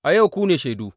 A yau ku ne shaidu!